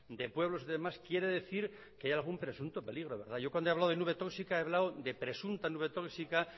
de pueblos y demás quiere decir que hay algún presunto peligro yo cuando he hablado de nube tóxica he hablado de presunta nube tóxica